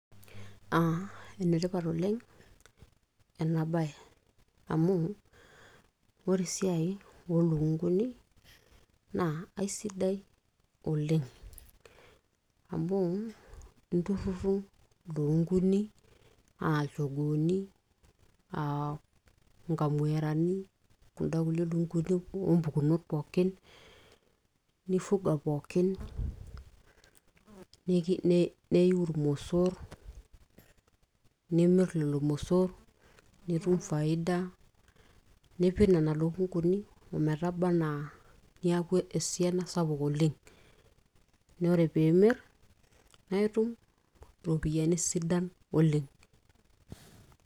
aa enetipat oleng ena baye amu ore esiai oolukunguni naa aisidai oleng amuu inturruru ilukunguni aa ilchogooni aa inkamuerani aa kunda kulie lukunguni oompukunot pookin nifuga pookin neiu irmosorr nimirr lelo mosorr nitum faida nipik nena lukunguni ometaba anaa niaku esiana sapuk oleng naa ore piimirr naa itum iropiyiani sidan oleng.